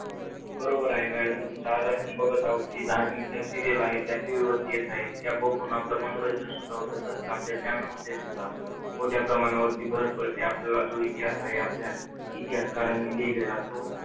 बरोबर आहे तुमचं madam. आज आपण बघत आहोत की धार्मिक serials आहेत त्या TV वरती येत आहेत त्या बघून आपलं मनोरंजन सुद्धा होतो तसेच आपल्या ज्ञानामध्ये सुद्धा मोठ्या प्रमाणामध्ये भर पडते. आपल्याला जो इतिहास ज्ञात आहे, इतिहासकारांनी लिहिलेला तो